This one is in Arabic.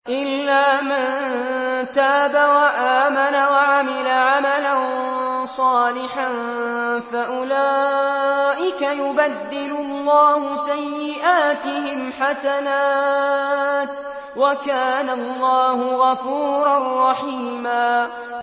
إِلَّا مَن تَابَ وَآمَنَ وَعَمِلَ عَمَلًا صَالِحًا فَأُولَٰئِكَ يُبَدِّلُ اللَّهُ سَيِّئَاتِهِمْ حَسَنَاتٍ ۗ وَكَانَ اللَّهُ غَفُورًا رَّحِيمًا